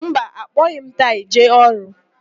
Mba, akpọghị m taị jee ọrụ.